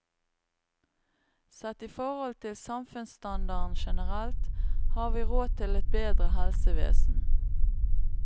Sett i forhold til samfunnsstandarden generelt, har vi råd til et bedre helsevesen.